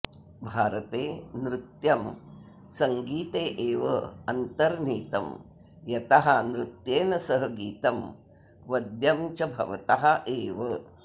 भारते नृत्यं सङ्गीते एव अन्तर्नीतं यतः नृत्येन सह गीतं वद्यं च भवतः एव